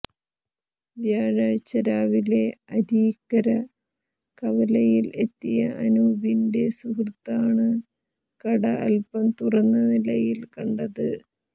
വ്യാഴാഴ്ച രാവിലെ അരീക്കര കവലയിൽ എത്തിയ അനൂപിന്റെ സുഹൃത്താണ് കട അല്പം തുറന്നനിലയിൽ കണ്ടത്